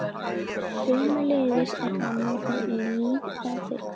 Sömuleiðis er það notað í lím og filmur.